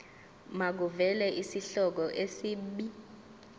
makuvele isihloko isib